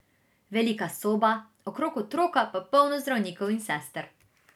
Velika soba, okrog otroka pa polno zdravnikov in sester ...